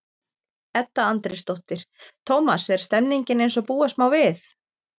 Edda Andrésdóttir: Tómas, er stemningin eins og búast má við?